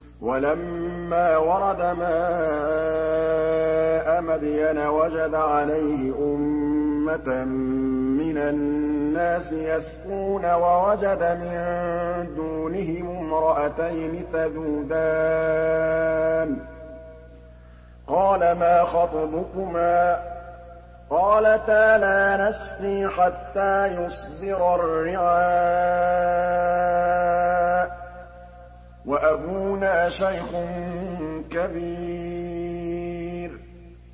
وَلَمَّا وَرَدَ مَاءَ مَدْيَنَ وَجَدَ عَلَيْهِ أُمَّةً مِّنَ النَّاسِ يَسْقُونَ وَوَجَدَ مِن دُونِهِمُ امْرَأَتَيْنِ تَذُودَانِ ۖ قَالَ مَا خَطْبُكُمَا ۖ قَالَتَا لَا نَسْقِي حَتَّىٰ يُصْدِرَ الرِّعَاءُ ۖ وَأَبُونَا شَيْخٌ كَبِيرٌ